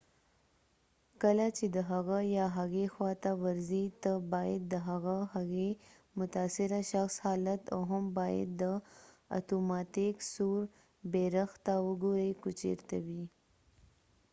کله چې د هغه یا هغې خوا ته ورځی ته باید د هغه/هغې متاثره شخص حالت او هم باید د اتوماتیک سور بیرغ ته وګوری که چېرته وي